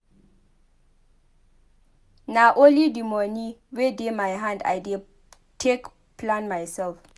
Nah only di moni wey dey my hand I dey take plan mysef.